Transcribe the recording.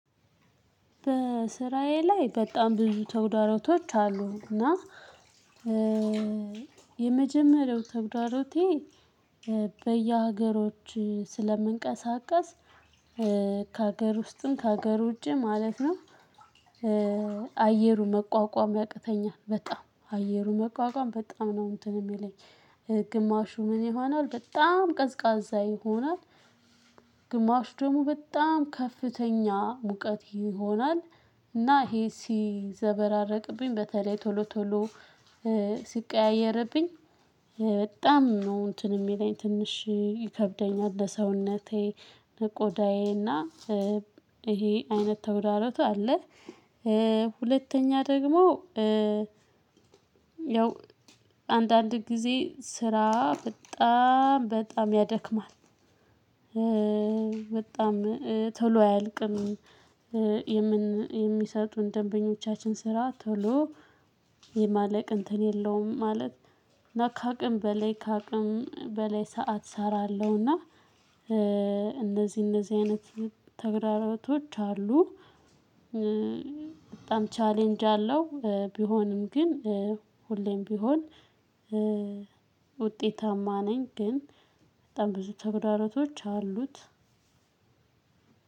በስራዬ ላይ በጣም ብዙ ተግዳሮቶች አሉና የመጀመሪያው ተግዳሮቴ በየሀገሮች ስለምንቀሳቀስ ከሀገር ውስጥም ከሀገር ውጪ ማለት ነው። አየሩን መቋቋም ያቅተኛል በጣም አየሩን መቋቋም በጣም ነው እንትን የሚለኝ ግማሹ ምን ይሆናል በጣም ቀዝቃዛ ይሆናል። ግማሽ ደግሞ በጣም ከፍተኛ ሙቀት ይሆናል። እና ይሄ ሲዘበራረቅብኝ በተለይ ቶሎ ቶሎ ሲቀያየርብኝ በጣም ነው እንትን የሚለኝ ትንሽ ይከብደኛል ለሰውነቴ ለቆዳዬ እና ይሄ አይነት ተግዳሮቱ አለ። ሁለተኛ ደግሞ ያው አንዳንድ ጊዜ ስራ በጣም በጣም ያደክማል። በጣም ቶሎ አያልቅም። የሚሰጡን ደንበኞቻችን ስራ ቶሎ የማለቅ እንትን የለውም ማለት እና ካቅም በላይ ካቅም በላይ ሰዓት እሰራለሁና። እንደዚህ እንደዚህ አይነት ተግዳሮቶች አሉ። በጣም ቻሌንጅ አለው። ቢሆንም ግን ሁሌም ቢሆን ውጤታማ ነኝ። ግን በጣም ብዙ ተጉዳሮቶች አሉት።